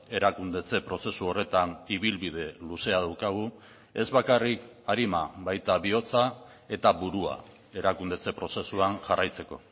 erakundetze prozesu horretan ibilbide luzea daukagu ez bakarrik arima baita bihotza eta burua erakundetze prozesuan jarraitzeko